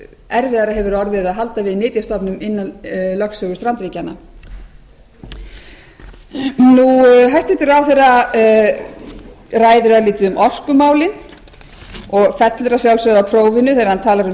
erfiðara hefur orðið að halda við nytjastofnum innan lögsögu strandríkjanna hæstvirtur ráðherra ræðir örlítið um orkumálin og fellur að sjálfsögðu á prófinu þegar hann talar um